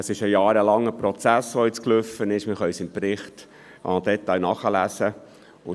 Es ging ein jahrelanger Prozess voraus, wie wir im Bericht im Detail nachlesen können.